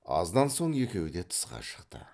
аздан соң екеуі де тысқа шықты